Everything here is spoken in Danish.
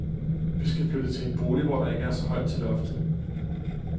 Vi skal flytte til en bolig, hvor der ikke er så højt til loftet.